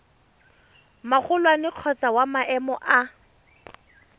magolwane kgotsa wa maemo a